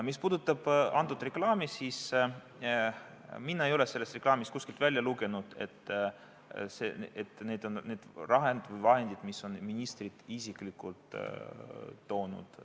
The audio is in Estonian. Mis puudutab antud reklaami, siis mina ei ole sellest reklaamist kuskilt välja lugenud, et need on need vahendid, mida ministrid isiklikult on toonud.